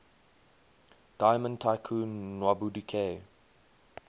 diamond tycoon nwabudike